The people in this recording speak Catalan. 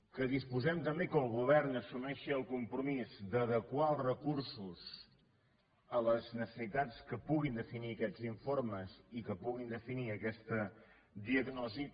que disposem també que el govern assumeixi el compromís d’adequar els recursos a les necessitats que puguin definir aquests informes i que pugui definir aquesta diagnosi